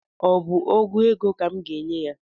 Ọ bụ ọgụ ego ka m ga-enye ya?